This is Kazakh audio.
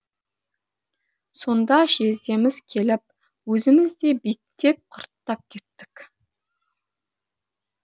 сонда жездеміз келіп өзіміз де биттеп құрттап кеттік